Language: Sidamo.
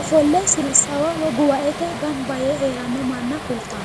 ofolle gambo woy songo gamba yee heerano manna kultano.